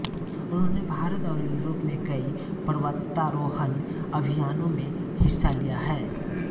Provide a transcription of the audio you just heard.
उन्होंने भारत और यूरोप में कई पर्वतारोहण अभियानों में हिस्सा लिया है